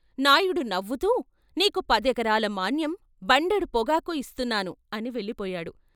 నాయుడు నవ్వుతూ "నీకు పదెకరాల మాన్యం, బండెడు పొగాకు ఇస్తు న్నాను " అని వెళ్ళిపోయాడు.